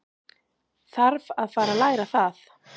Þarf að fara að læra það.